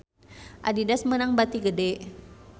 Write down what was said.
Adidas meunang bati gede